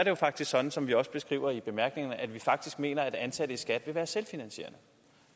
jo faktisk sådan som vi også beskriver i bemærkningerne at vi mener at ansatte i skat vil være selvfinansierende